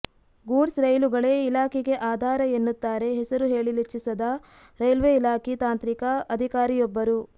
goods ರೈಲುಗಳೇ ಇಲಾಖೆಗೆ ಆಧಾರ ಎನ್ನುತ್ತಾರೆ ಹೆಸರು ಹೇಳಲಿಚ್ಛಿಸದ ರೈಲ್ವೆ ಇಲಾಖೆ ತಾಂತ್ರಿಕ ಅಧಿಕಾರಿಯೊಬ್ಬರು